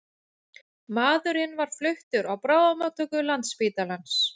Maðurinn var fluttur á bráðamóttöku Landspítalans